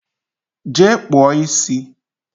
Jee kpụọ isi!